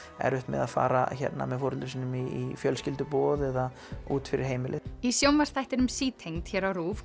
erfitt með að fara með foreldrum sínum í fjölskylduboð eða út fyrir heimilið í sjónvarpsþættinum sítengd hér á RÚV